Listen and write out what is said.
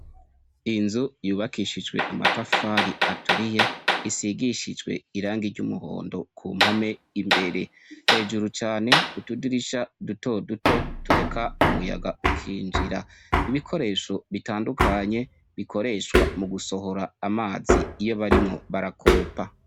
Inzu yubakishijwe amatafari aturiye, isigishijwe irangi ry'umuhondo kumpome imbere. Hejuru cane k'utudirisha duto duto tureka umuyaga ukinjira. Ibikoresho bitandukanye bikoreshwa mugusohora amazi iyo barimwo barakoropa.